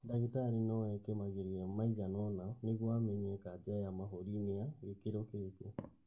Ndagĩtarĩ no eke mageria maigana ũna mĩguo amenye kanja ya mahũri nĩ ya gĩkĩro kĩrĩkũ